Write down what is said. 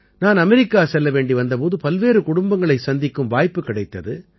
நான் அமெரிக்கா செல்ல வேண்டி வந்த போது பல்வேறு குடும்பங்களைச் சந்திக்கும் வாய்ப்புக் கிடைத்தது